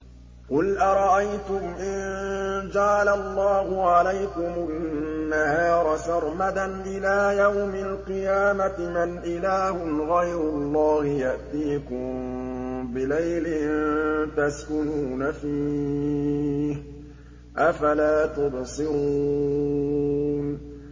قُلْ أَرَأَيْتُمْ إِن جَعَلَ اللَّهُ عَلَيْكُمُ النَّهَارَ سَرْمَدًا إِلَىٰ يَوْمِ الْقِيَامَةِ مَنْ إِلَٰهٌ غَيْرُ اللَّهِ يَأْتِيكُم بِلَيْلٍ تَسْكُنُونَ فِيهِ ۖ أَفَلَا تُبْصِرُونَ